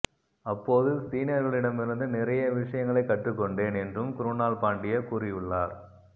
அப்போது சீனியர்களிடமிருந்து நிறைய விஷயங்களை கற்றுக்கொண்டேன் என்றும் க்ருணால் பாண்டியா கூறியுள்ளார்